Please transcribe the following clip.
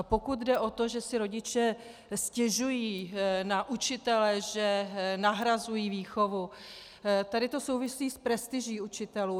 A pokud jde o to, že si rodiče stěžují na učitele, že nahrazují výchovu, tady to souvisí s prestiží učitelů.